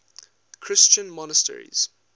christian monasteries